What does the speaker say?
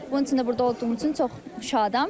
Bunun üçün də burda olduğumuz üçün çox şadam.